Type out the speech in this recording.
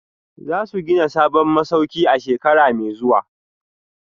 Za su gina sabon masauki a shekara mai zuwa